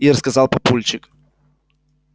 ир сказал папульчик